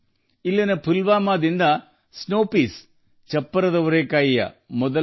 ಇಲ್ಲಿನ ಪುಲ್ವಾಮಾದಿಂದ ಲಂಡನ್ಗೆ ಹಿಮದ ಬಟಾಣಿಗಳ ಚೊಚ್ಚಲ ರವಾನೆಯಾಗಿದೆ